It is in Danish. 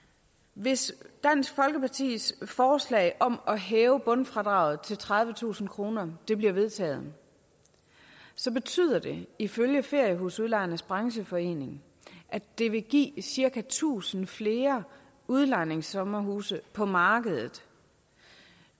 hvis dansk folkepartis forslag om at hæve bundfradraget til tredivetusind kroner bliver vedtaget så betyder det ifølge feriehusudlejernes brancheforening at det vil give cirka tusind flere udlejningssommerhuse på markedet